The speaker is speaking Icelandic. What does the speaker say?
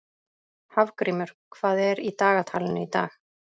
Hafgrímur, hvað er í dagatalinu í dag?